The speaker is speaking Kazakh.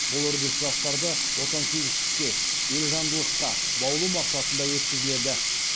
бұл үрдіс жастарды отансүйгіштікке елжандылыққа баулу мақсатында өткізіледі